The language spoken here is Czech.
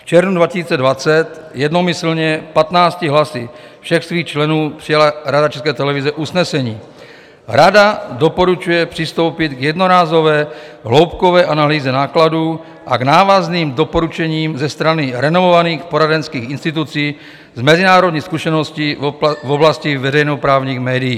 V červnu 2020 jednomyslně 15 hlasy všech svých členů přijala Rada České televize usnesení: "Rada doporučuje přistoupit k jednorázové hloubkové analýze nákladů a k návazným doporučením ze strany renomovaných poradenských institucí s mezinárodní zkušeností v oblasti veřejnoprávních médií."